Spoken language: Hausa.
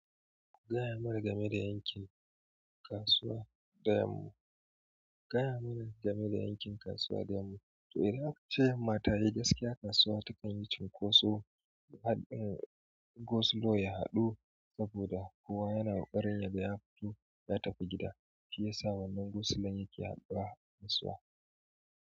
Ku gaya mana game da yakin kasuwa, ku gaya mana game da yakin kasuwa to idan aka ce yamma tayi kasuwa ta kan yi cinkoso, had un-- gosilo ya haɗu soboda kowa yana ƙoƙarin yaga ya fito ya tafi gida shiyasa wannan gosilon yake haɗuwa kasuwa.